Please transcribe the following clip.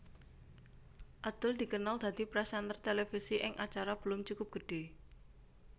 Adul dikenal dadi présènter televisi ing acara Belum Cukup Gede